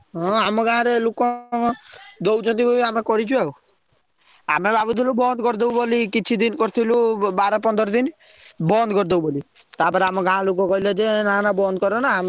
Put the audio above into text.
ହଁ ଆମ ଗାଁ ରେ ଲୋକଙ୍କର ଦଉଛନ୍ତି ବୋଲି ଆମେ କରିଛୁ ଆଉ ଆମେ ଭାବୁଥିଲୁ ବୋଲି ବନ୍ଦ କରଦବୁ ବୋଲି କିଛି ଦିନ କରିଥିଲୁ ବାର ପନ୍ଦର ଦିନ ବନ୍ଦ କରଦବୁ ବୋଲି ତା'ପରେ ଆମ ଗାଁ ଲୋକ କହିଲେ ଯେ ନା ନା ବନ୍ଦ କରନା ଆମେ ପଇସା,